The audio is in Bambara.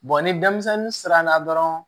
ni denmisɛnnin siranna dɔrɔn